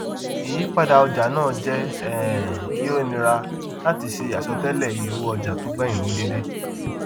ìyípadà ọjà náà jẹ um kí ó nira láti ṣe àsọtéélẹ ìye owó ọjà tó gbẹyìn ní dẹédé